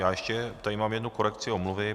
Já ještě tady mám jednu korekci omluvy.